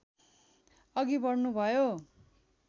अघि बढ्नुभयो